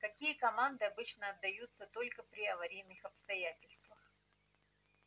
какие команды обычно отдаются только при аварийных обстоятельствах